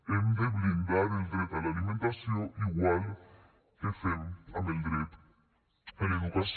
hem de blindar el dret a l’alimentació igual que fem amb el dret a l’educació